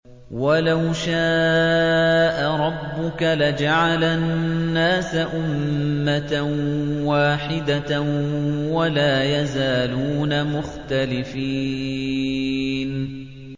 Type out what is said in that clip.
وَلَوْ شَاءَ رَبُّكَ لَجَعَلَ النَّاسَ أُمَّةً وَاحِدَةً ۖ وَلَا يَزَالُونَ مُخْتَلِفِينَ